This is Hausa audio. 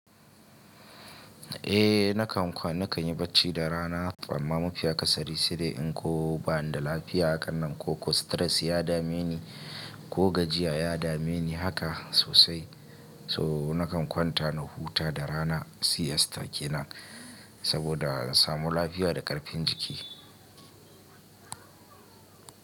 Eh nakan kwana na kan yi bacci da rana amma mafiya akasari sai dai in ko ba'n da lafiya a hakan nan ko stress ya dame ni ko gajiya ya dame ni haka sosai. So nakan kwanta na huta da rana siesta kenan saboda in samu lafiya da karfin jiki.